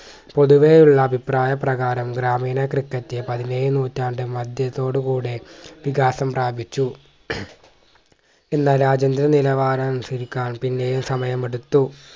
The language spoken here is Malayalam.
പൊതുവെ ഉള്ള അഭിപ്രായ പ്രകാരം ഗ്രാമീണ ക്രിക്കറ്റ് പതിനേഴ് നൂറ്റാണ്ട് മദ്യത്തോട് കൂടി വികാസം പ്രാപിച്ചു എന്നാൽ രാജ്യന്തര നിലവാരം അനുസരിക്കാൻ പിന്നെയും സമയം എടുത്തു